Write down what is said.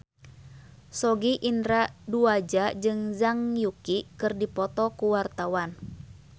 Sogi Indra Duaja jeung Zhang Yuqi keur dipoto ku wartawan